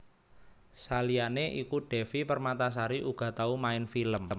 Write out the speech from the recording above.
Saliyané iku Devi Permatasari uga tau main film